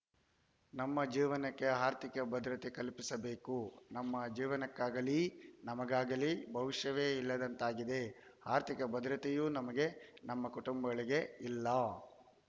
ನಮ್ಮ ಜೀವನಕ್ಕೆ ಆರ್ಥಿಕ ಭದ್ರತೆ ಕಲ್ಪಿಸಬೇಕು ನಮ್ಮ ಜೀವನಕ್ಕಾಗಲೀ ನಮಗಾಗಲೀ ಭವಿಷ್ಯವೇ ಇಲ್ಲದಂತಾಗಿದೆ ಆರ್ಥಿಕ ಭದ್ರತೆಯೂ ನಮಗೆ ನಮ್ಮ ಕುಟುಂಬಗಳಿಗೆ ಇಲ್ಲ